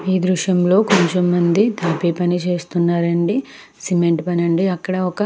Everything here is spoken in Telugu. ఈ దృశ్యంలో కొంచెం మంది తాపీ పని చేస్తున్నారండి సిమెంట్ పనండి అక్కడ ఒక --